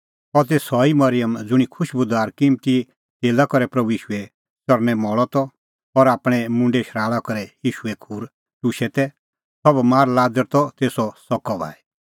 अह ती सह ई मरिअम ज़ुंणी खुशबूदार किम्मती तेला करै प्रभू ईशूए च़रणैं मल़अ त और आपणैं मुंडे शराल़ा करै ईशूए खूर टुशै तै सह बमार लाज़र त तेसो सकअ भाई